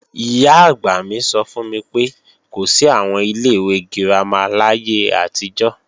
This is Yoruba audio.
Ìyá-àgbà mi sọ fún mi pé, kò sí àwọn ilé ìwé girama láyé àtijọ́